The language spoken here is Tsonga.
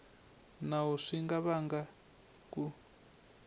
nawu swi nga vanga ku